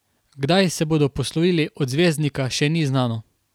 Kdaj se bodo poslovili od zvezdnika še ni znano.